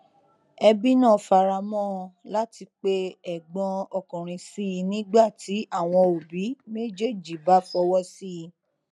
ẹbí náà faramọ ọn láti pe ẹgbọn ọkùnrin sí i nígbà tí àwọn òbí méjéèjì bá fọwọ sí i